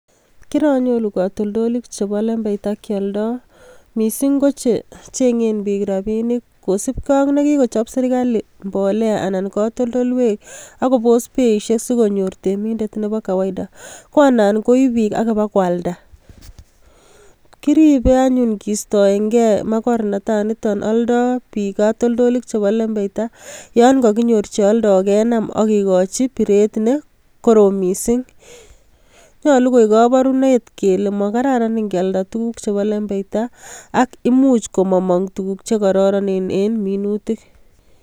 Kiranyoru katoltolik chebo lembeita kioldoo, missing kochechengeen biik rabinik, kosiibge ak nekikochop serkalit mbolea anan ko katoltoleiwek akobos beisiek sikonyor reminder Nebo kawaida, ko annan koib bik ak bak kwaldaa, kimuche anyun kistoenge makornatanitok oldoo bik katoltolik chebo lembeita yon kakinyor kenaam ak kikochi berutiet neo missing. Nyolu koik koborunet kele machamdaat kealdaa tuguk chebo lembeita ak imuch komomong tuguuk che kororonen en minutiik